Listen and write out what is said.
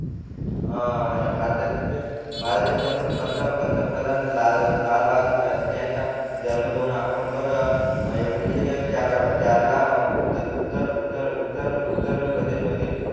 हा आणि भारताचे म्हणजे भारताचे पंत पंतप्रधान लालबहादूर शास्त्री यांचा जन्म दोन ऑक्टोबर एकोणविशे चार ला उत्तर उत्तर उत्तर उत्तर उत्तर उत्तर प्रदेश मधील